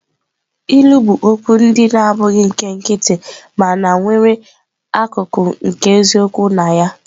Ilu bụ okwu ndị na-abụghị nke nkịtị mana nwere akụkụ nke eziokwu na ya.